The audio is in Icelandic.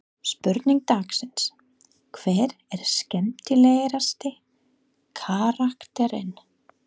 Spurning dagsins: Hver er skemmtilegasti karakterinn?